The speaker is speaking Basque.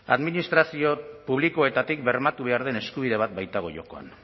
administrazio publikoetatik bermatu behar den eskubide bat baitago jokoan